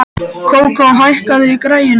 Kókó, hækkaðu í græjunum.